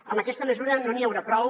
amb aquesta mesura no n’hi haurà prou